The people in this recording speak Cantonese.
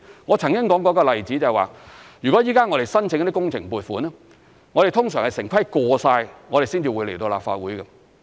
我曾經說過一個例子，如果現在我們申請工程撥款，通常是城規會通過了，才會來到立法會。